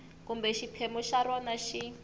kumbe xiphemu xa rona xi